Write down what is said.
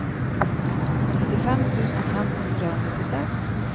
nittifem tusen fem hundre og nittiseks